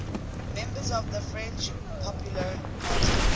members of the french popular party